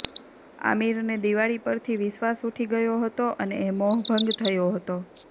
આમિરને દિવાળી પરથી વિશ્વાસ ઊઠી ગયો હતો અને એ મોહભંગ થયો હતો